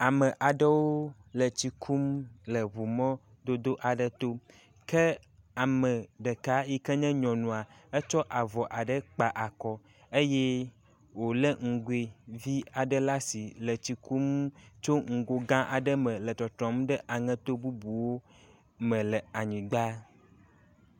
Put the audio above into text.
Ame aɖewo le tsi kum le ŋu mɔdodo aɖe to, ke ame ɖeka yike nye nyɔnua, etsɔ avɔ aɖe kpa akɔ eye wòlé nugoe vi aɖe le asi le kum tso nugo gã aɖe me le tɔtrɔm ɖe aŋeto bubuwo me le anyigba.